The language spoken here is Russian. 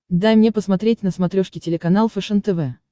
дай мне посмотреть на смотрешке телеканал фэшен тв